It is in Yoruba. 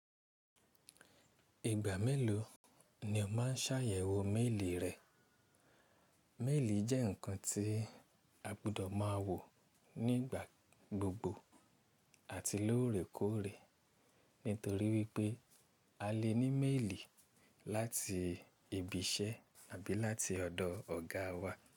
Ìgbà mélòó ni o máa ṣàyẹ̀wò méèlì rẹ? Méèlì jẹ́ ǹkan tí a gbọdọ̀ máa wò nígbà gbogbo àti lóòrèkóòrè. Nítorí wípé a lè ní méèlì láti ibi iṣẹ́ àbí láti ọ̀dọ̀ ọ̀gá wa.